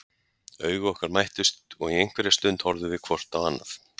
Augu okkar mættust og í einhverja stund horfðum við hvort á annað.